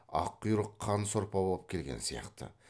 аққұйрық қан сорпа боп келген сияқты